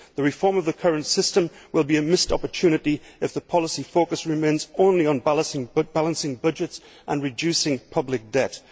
The reform of the current system will be a missed opportunity if the policy focus remains solely on balancing budgets and reducing public debt.